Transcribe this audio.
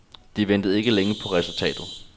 De ventede ikke længe på resultatet.